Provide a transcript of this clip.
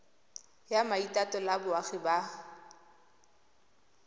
ya maitatolo a boagi ba